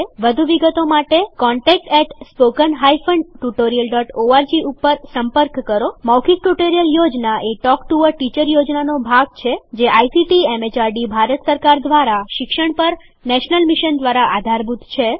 વધુ વિગતો માટે contactspoken tutorialorg ઉપર સંપર્ક કરો મૌખિક ટ્યુટોરીયલ યોજના એ ટોક ટુ અ ટીચર યોજનાનો ભાગ છે જે આઇસીટીએમએચઆરડીભારત સરકાર દ્વારા શિક્ષણ પર નેશનલ મિશન દ્વારા આધારભૂત છે